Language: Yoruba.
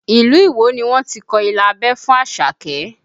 Ilu Iwo ni wọ́n ti kọ ilà abẹ́ fún Àṣàkẹ́